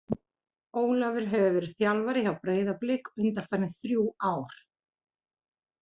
Ólafur hefur verið þjálfari hjá Breiðablik undanfarin þrjú ár.